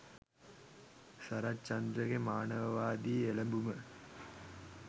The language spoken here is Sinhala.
සරච්චන්ද්‍රගේ මානවවාදී එළඹුම